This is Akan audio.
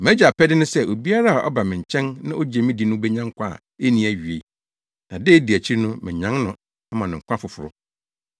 MʼAgya apɛde ne sɛ obiara a ɔba me nkyɛn na ogye me di no benya nkwa a enni awiei, na da a edi akyiri no manyan no ama no nkwa foforo.”